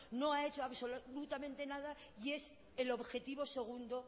no ha hecho absolutamente nada y es el objetivo segundo